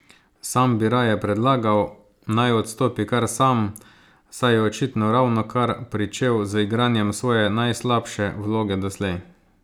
Sam bi raje predlagal, naj odstopi kar sam, saj je očitno ravnokar pričel z igranjem svoje najslabše vloge doslej!